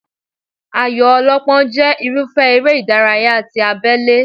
Ayò ọlọ́pọ́n jẹ́ irúfẹ́ eré ìdárayá ti abélé